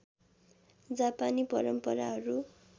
जापानी परम्पराहरू